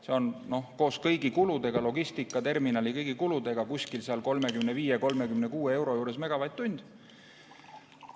See on koos kõigi kuludega, logistikaterminali ja kõigi muude kuludega 35–36 eurot megavatt-tund.